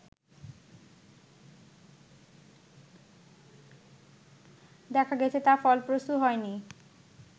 দেখা গেছে তা ফলপ্রসূ হয়নি